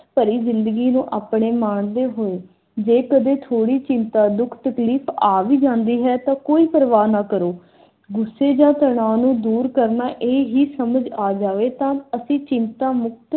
ਭਰੀ ਜ਼ਿੰਦਗੀ ਨੂੰ ਆਪਣੇ ਮਾਣਦੇ ਹੋਏ ਜੇ ਕਦੇ ਥੋੜੀ ਚਿੰਤਾ, ਦੁੱਖ, ਤਕਲੀਫ ਆ ਵੀ ਜਾਂਦੀ ਹੈ ਤਾਂ ਕੋਈ ਪ੍ਰਵਾਹ ਨਾ ਕਰੋ। ਗੁੱਸੇ ਜਾਂ ਤਣਾਅ ਨੂੰ ਦੂਰ ਕਰਨਾ ਇਹ ਹੀ ਸਮਝ ਆ ਜਾਵੇ ਤਾਂ ਅਸੀਂ ਚਿੰਤਾ ਮੁਕਤ